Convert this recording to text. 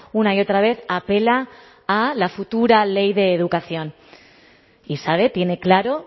una y otra vez apela a la futura ley de educación y sabe tiene claro